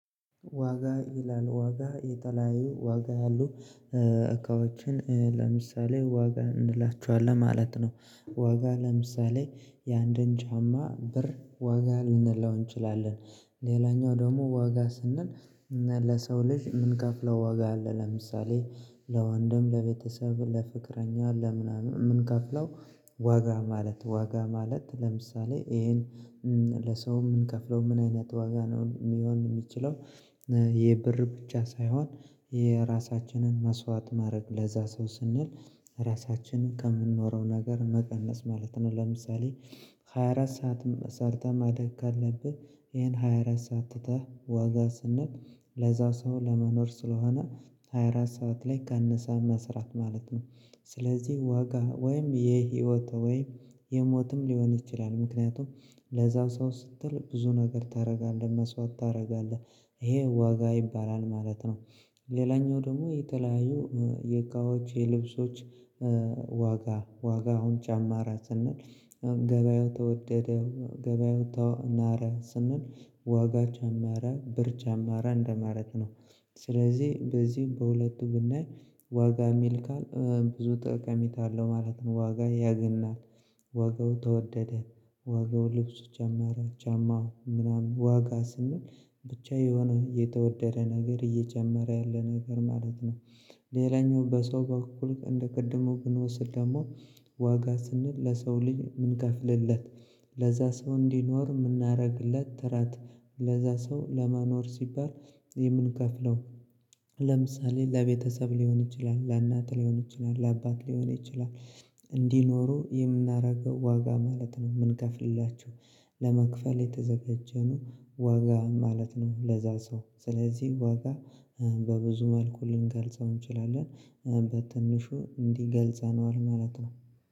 ዋጋ ይላል ዋጋ የተለያዩ ዋጋ ያሉ እቃዎችን ለምሳሌ ዋጋ እንላችኋለን ማለት ነው። ዋጋ ለምሳሌ የአንድን ጫማ ብር ዋጋ ልንለው እንችላለን። ሌላኛው ደግሞ ዋጋ ስንል ለሰው ልጅ የምንከፍለው ዋጋ አለ። ለምሳሌ ለወንድም ለቤተሰብ ለፍቅረኛ ለምናምን የምንከፍለው ዋጋ ማለት ዋጋ ማለት ለምሳሌ ይሄን ለሰው የምንከፍለው ምን አይነት ዋጋ ነው የሚሆን የሚችለው? የብር ብቻ ሳይሆን የራሳችንን መስዋዕት ማድረግ ለዛ ሰው ስንል ራሳችንን ከምንኖረው ነገር መቀነስ ማለት ነው። ለምሳሌ ሃያ አራት ሰዓት ሰርተህ ማደግ ካለብህ ይሄን ሃያ አራት ሰዓት ትተህ ዋጋ ስንል ለዛ ሰው ለመኖር ስለሆነ ሃያ አራት ሰዓት ላይ ቀንሰህ መስራት ማለት ነው። ስለዚህ ዋጋ ወይም የህይወት ወይም የሞትም ሊሆን ይችላል። ምክንያቱም ለዛው ሰው ስትል ብዙ ነገር ታደርጋለህ መስዋዕት ታደርጋለህ ይሄ ዋጋ ይባላል ማለት ነው። ሌላኛው ደግሞ የተለያዩ ዋጋዎች የልብሶች ዋጋ ዋጋውን ጨማረ ስንል ገበያው ተወደደ ገበያው ናረ ስንል ዋጋ ጀማረ ብር ጨመረ እንደማለት ነው። ስለዚህ በዚህም በሁለቱ ብናይ ዋጋ የሚል ቃል ብዙ ጠቀሜታ አለው ማለት ነው። ዋጋ ያገናል ዋጋው ተወደደ ዋጋው ልብሱ ጨመረ ጫማው ምናምን ዋጋ ስንል ብቻ የሆነ የተወደደ ነገር እየጨመረ ያለ ነገር ማለት ነው። ሌላኛው በሰው በኩል እንዴ ቅድሙ ብንወስድ ደግሞ ዋጋ ስንል ለሰው ልጅ ምን ከፍልለት? ለዛ ሰው እንዲኖር የምናደርግለት ጥረት ለዛ ሰው ለማኖር ሲባል የምንከፍለው ለምሳሌ ለቤተሰብ ሊሆን ይችላል ለእናት ሊሆን ይችላል ለአባት ሊሆን ይችላል እንዲኖሩ የምናደርገው ዋጋ ማለት ነው። የምንከፍልላችሁ ለመክፈል የተዘጋጀ ነው ዋጋ ማለት ነው። ለዛ ሰው ስለዚህ ዋጋ በብዙ መልኩ ልንገልጸው እንችላለን። በትንሹ እንዲገልጸነዋል ማለት ነው